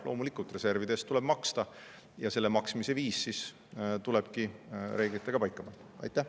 Loomulikult, reservide eest tuleb maksta ja selle maksmise viis tulebki reeglitega paika panna.